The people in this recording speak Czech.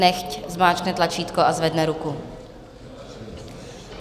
Nechť zmáčkne tlačítko a zvedne ruku.